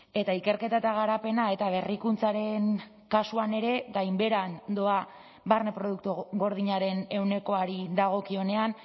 eta ikerketa eta garapena eta berrikuntzaren kasuan ere gainbeheran doa barne produktu gordinaren ehunekoari dagokionean